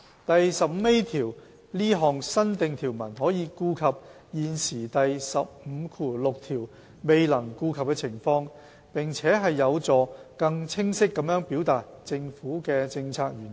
第 15A 條這項新訂條文可顧及現時第156條未能顧及的情況，並有助更清晰地表達政府的政策原意。